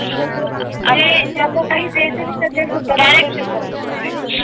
जे ज्यांना काहीच यायचं नाही ना ते सुद्धा मास्टर शेफ बनलेले होते